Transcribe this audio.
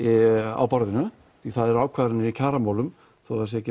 á borðinu því að það eru ákvarðanir í kjaramálum þó að það sé ekki